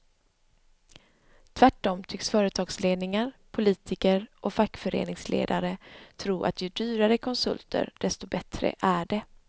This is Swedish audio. Tvärtom tycks företagsledningar, politiker och fackföreningsledare tro att ju dyrare konsulter desto bättre är det.